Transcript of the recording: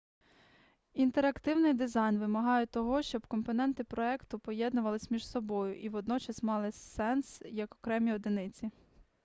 інтерактивний дизайн вимагає того щоб компоненти проекту поєднувалися між собою і водночас мали сенс як окремі одиниці